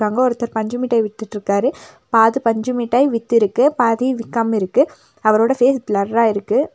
அங்க ஒருத்தர் பஞ்சு மிட்டாய் வித்துட்டுருக்காரு பாதி பஞ்சு மிட்டாய் வித்துருக்கு பாதி விக்காமா இருக்கு அவரோட ஃபேஸ் ப்ளரா இருக்கு.